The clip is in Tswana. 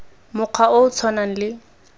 mokgwa o o tshwanang le